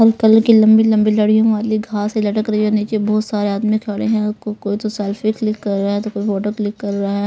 uncle की लंबी-लंबी लड़ियों वाली घास से लटक रही है नीचे बहुत सारे आदमी खड़े हैं को कोई तो सेल्फी क्लिक कर रहा है तो कोई फोटो क्लिक कर रहा --